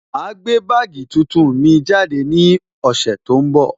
Ma gbé bagii tuntun mi jáde ní ọ̀sẹ̀ tó ń bọ̀